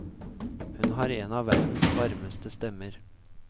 Hun har en av verdens varmeste stemmer.